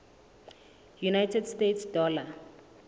united states dollar